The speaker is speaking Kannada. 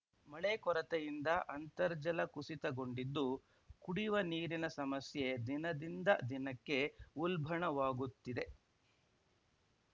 ಮಳೆ ಕೊರತೆಯಿಂದ ಅಂತರ್ಜಲ ಕುಸಿತಗೊಂಡಿದ್ದು ಕುಡಿವ ನೀರಿನ ಸಮಸ್ಯೆ ದಿನ ದಿಂದ ದಿನಕ್ಕೆ ಉಲ್ಭಣವಾಗುತ್ತಿದೆ